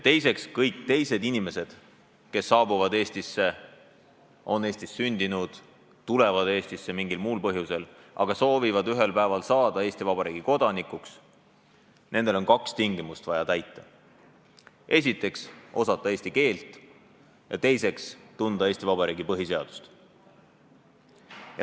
Teiseks, kõigil teistel inimestel, kes on Eestis sündinud või tulevad Eestisse mingil põhjusel ja soovivad ühel päeval saada Eesti Vabariigi kodanikuks, on vaja täita kaks tingimust: esiteks tuleb osata eesti keelt ja teiseks tuleb tunda Eesti Vabariigi põhiseadust.